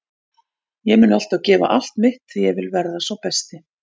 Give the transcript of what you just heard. Ég mun alltaf gefa allt mitt því ég vil verða sá besti.